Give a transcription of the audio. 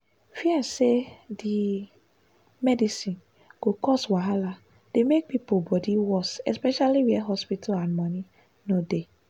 fear say di medicine go cause wahala dey make people body worse especially where hospital and money no dey.